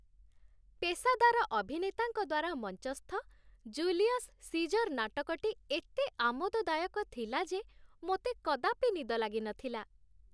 ପେସାଦାର ଅଭିନେତାଙ୍କ ଦ୍ୱାରା ମଞ୍ଚସ୍ଥ 'ଜୁଲିୟସ୍ ସିଜର୍' ନାଟକଟି ଏତେ ଆମୋଦଦାୟକ ଥିଲା ଯେ ମୋତେ କଦାପି ନିଦ ଲାଗିନଥିଲା।